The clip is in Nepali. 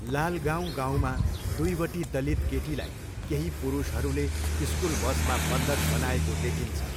लालगाउँ गाउँमा दुईवटी दलित केटीलाई केही पुरुषहरूले स्कुल बसमा बन्धक बनाएको देखिन्छ।